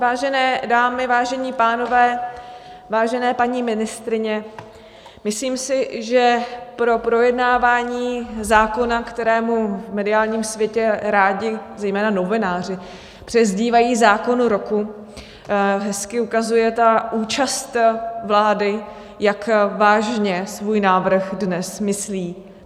Vážené dámy, vážení pánové, vážené paní ministryně , myslím si, že pro projednávání zákona, kterému v mediálním světě rádi zejména novináři přezdívají zákon roku, hezky ukazuje ta účast vlády, jak vážně svůj návrh dnes myslí.